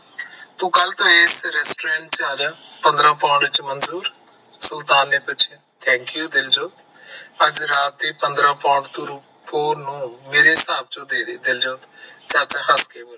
ਤੂੰ ਕਲ ਤੋਂ ਇਸ restaurant ਚ ਆ ਜਾ ਪੰਦਰਾ ਪੌਂਡ ਚ ਮਨਜੂਰ ਸੁਲਤਾਨ ਨੇ ਪੁੱਛਿਆ thank you ਦਿਲਜੋਤ ਅੱਜ ਰਾਤ ਦੇ ਪੰਦਰਾ pound ਤੂੰ ਰੂਪੋ ਨੂੰ ਮੇਰੇ ਹਿਸਾਬ ਚੋਂ ਦੇਦੇ ਦਿਲਜੋਤ